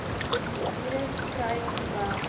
virus kry terwyl